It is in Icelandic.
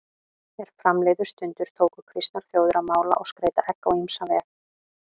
Er fram liðu stundir tóku kristnar þjóðir að mála og skreyta egg á ýmsan veg.